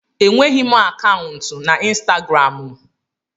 Enweghị m akaụntụ na Instagramụ.